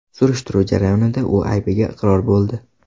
Surishtiruv jarayonida u aybiga iqror bo‘ldi.